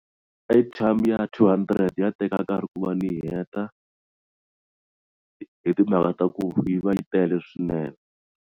Airtime ya R200 ya teka nkarhi ku va ni heta hi timhaka ta ku yi va yi tele swinene.